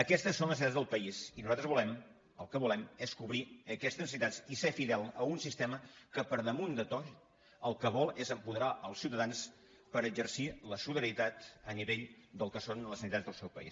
aquestes són les necessitats del país i nosaltres el que volem és cobrir aquestes necessitats i ser fidels a un sistema que per damunt de tot el que vol és apoderar els ciutadans per exercir la solidaritat a nivell del que són les necessitats del seu país